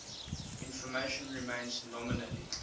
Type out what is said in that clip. information remains nominally